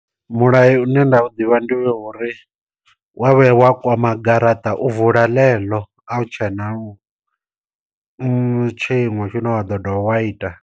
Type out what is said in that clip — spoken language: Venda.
Mulayo une nda u ḓivha ndi wo uri, wa vhuya wa kwama garaṱa u vula ḽeḽo a u tshena tshiṅwe tshine wa ḓo ḓovha wa ita.